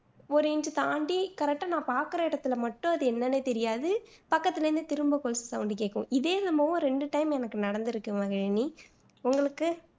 ஒரு inch தாண்டி correct ஆ நான் பாக்குற இடத்துல மட்டும் அது என்னான்னு தெரியாது பக்கத்துல இருந்து திரும்ப கொலுசு sound கேக்கும். இதே என்னமோ எனக்கு ரெண்டு time நடந்துருக்கு மகிழினி உங்களுக்கு